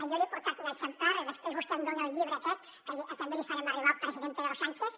jo li he portat un exemplar i després vostè em dona el llibre aquest que també li farem arribar al president pedro sánchez